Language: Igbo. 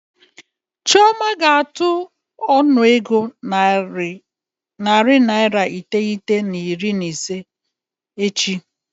Chioma ga-atụ ọnụego naira narị iteghete na iri na ise n'akawo echi.